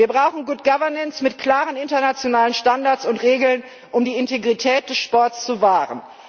Wir brauchen Good Governance mit klaren internationalen Standards und Regeln, um die Integrität des Sports zu wahren.